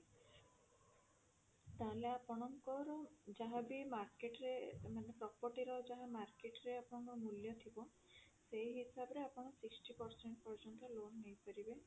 ତାହେଲେ ଆପଣଙ୍କର ଯାହା ବି market ରେ ମାନେ property ର ଯାହା market ରେ ଆପଣଙ୍କର ମୂଲ୍ୟ ଥିବ ସେଇ ହିସାବରେ ଆପଣ sixty percent ପର୍ଯ୍ୟନ୍ତ loan ନେଇପାରିବେ